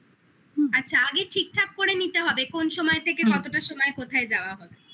আগে ঠিক ঠাক করে নিতে হবে কোন সময় থেকে কতটা সময় কোথায় যাওয়া হবে